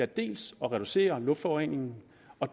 dels at reducere luftforureningen